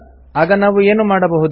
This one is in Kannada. ಆಗ ನಾವು ಏನು ಮಾಡಬಹುದು